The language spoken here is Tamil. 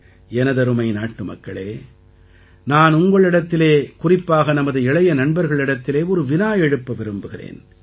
எனதருமை நாட்டுமக்களே நான் உங்களிடத்திலே குறிப்பாக நமது இளைய நண்பர்களிடத்திலே ஒரு வினா எழுப்ப விரும்புகிறேன்